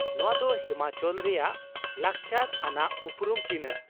ᱱᱚᱶᱟ ᱫᱚ ᱦᱤᱢᱟᱪᱚᱞ ᱨᱮᱭᱟᱜ ᱞᱟᱠᱪᱟᱨ ᱟᱱᱟᱜ ᱩᱯᱨᱩᱢ ᱪᱤᱱᱷᱟᱹ ᱾